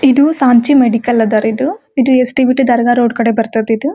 ಇದು ಸಂಚಿ ಮೆಡಿಕಲ್ ಅದರಿ ಇದು ಯೆಸ್ಟ್ ಬಿಟು ದರ್ಗಾ ರೋಡ್ ಕಡೆ ಬರ್ಥದ್ ಇದು.